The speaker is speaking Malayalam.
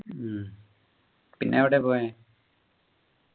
ഉം പിന്നെ എവിടെയാ പോയെ